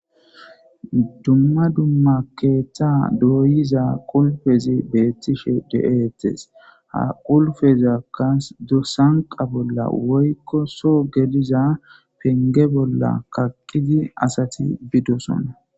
dumma dumma keeththa dooyiza qulpezi beettishshe de'ettees ha qulfezakka sanqa bolla woykko soo geliza penge bolla kaqqidi asati biidossona